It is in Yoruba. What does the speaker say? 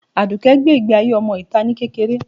Adùké gbé ìgbé ayé ọmọ itá ni kékeré.